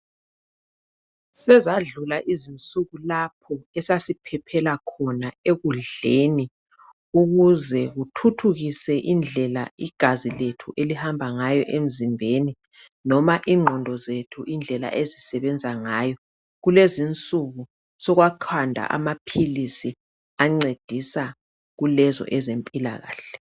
Sezadlula izinsuku esasiphephela khona ekudleni ukuze kuthuthukise indlela igazi lethu elihamba ngayo emzimbeni noma ingqondo zethu indlela ezisebenza ngayo, kulezinsuku sokwakhandwa amaphilisi ancedisa kulezo ezempilakahle.